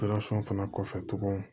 fana kɔfɛ tuguni